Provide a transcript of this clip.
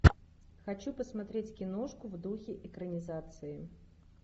хочу посмотреть киношку в духе экранизации